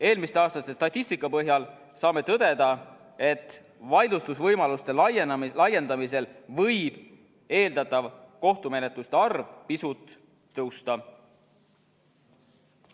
Eelmiste aastate statistika põhjal saame tõdeda, et vaidlustusvõimaluste laiendamisel võib eeldatav kohtumenetluste arv pisut tõusta.